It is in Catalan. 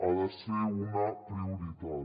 ha de ser una prioritat